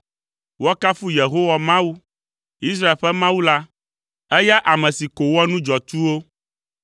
Woakafu Yehowa Mawu, Israel ƒe Mawu la, eya ame si ko wɔa nu dzɔatsuwo.